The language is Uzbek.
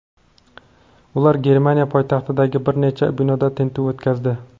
Ular Germaniya poytaxtidagi bir necha binoda tintuv o‘tkazdi.